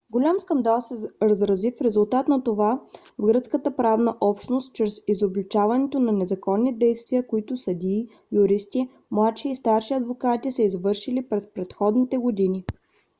голям скандал се разрази в резултат на това в гръцката правна общност чрез изобличаването на незаконни действия които съдии юристи младши и старши адвокати са извършили през предходните години